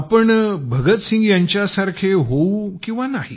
आपण भगतसिंग यांच्यासारखे होऊ किंवा नाही